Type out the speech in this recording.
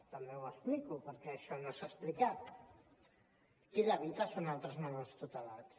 també ho explico perquè això no s’ha explicat qui l’evita són altres menors tutelats